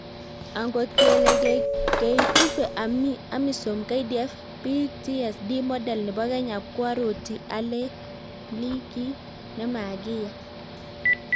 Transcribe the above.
angot kelee keikuve amisom KDF PTSD model nebo Kenya koaroti alee mli kiy nemakiya